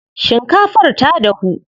Shinkafar ta dahu.